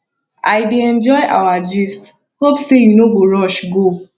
i dey enjoy our gist hope say you no go rush go